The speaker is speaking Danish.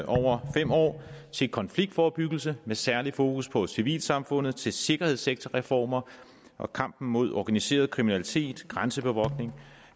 over fem år til konfliktforebyggelse med særlig fokus på civilsamfundet til sikkerhedssektorreformer og kampen mod organiseret kriminalitet til grænsebevogtning